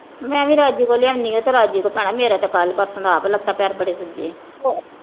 ਮੈਂ ਵੀ ਰਾਜੂ ਕੋਲੋਂ ਲਿਆਉਣੀ ਆ। ਉਹ ਤਾਂ ਰਾਜੂ ਕੋਲ ਭੈਣਾਂ ਮੇਰਾ ਕੱਲ ਪਰਸੋਂ ਦਾ ਆਪ ਲੱਤਾਂ ਪੈਰ ਬੜੇ ਸੁੱਜ ਗਏ।